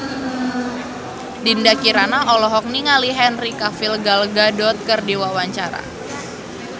Dinda Kirana olohok ningali Henry Cavill Gal Gadot keur diwawancara